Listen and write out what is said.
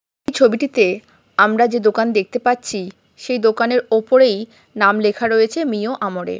এই ছবিটিতে আমরা যে দোকান দেখতে পাচ্ছি। সেই দোকানের উপরেই নাম লেখা রয়েছে মিও আমোরে ।